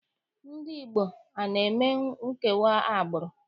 Ndị Igbo ana eme nkewa agbụrụ?